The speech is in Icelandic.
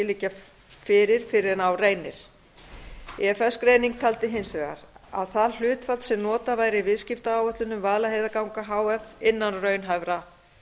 liggja fyrir fyrr en á reynir ifs greining taldi hins vegar að það hlutfall sem notað væri í viðskiptaáætlunum vaðlaheiðarganga h f innan raunhæfra